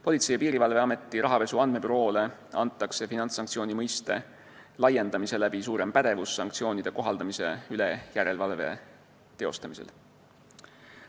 Politsei- ja Piirivalveameti rahapesu andmebüroole antakse finantssanktsiooni mõiste laiendamisega suurem pädevus sanktsioonide kohaldamise üle järelevalve teostamisel.